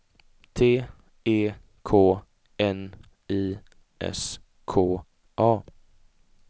T E K N I S K A